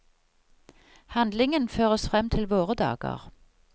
Handlingen føres frem til våre dager.